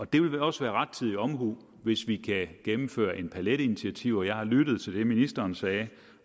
det vil også være rettidig omhu hvis vi kan gennemføre en palet af initiativer jeg har lyttet til det ministeren sagde